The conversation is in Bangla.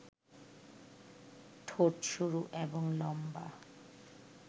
ঠোট সরু এবং লম্বা